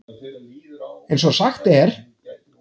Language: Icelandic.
eins og sagt er.